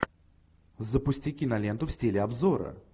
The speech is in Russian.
запусти киноленту в стиле обзора